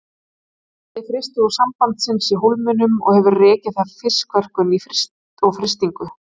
Það keypti frystihús Sambandsins í Hólminum og hefur rekið þar fiskverkun og frystingu.